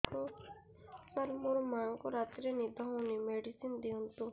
ସାର ମୋର ମାଆଙ୍କୁ ରାତିରେ ନିଦ ହଉନି ମେଡିସିନ ଦିଅନ୍ତୁ